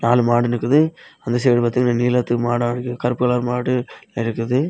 நாலு மாடு நிக்குது அந்த சைடு பாத்தீங்கன்னா நீலத்துக்கு மாடா இருக்கு கருப்பு கலர் மாடு இருக்குது.